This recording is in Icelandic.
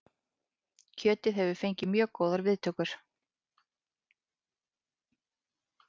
Kjötið hefur fengið mjög góðar viðtökur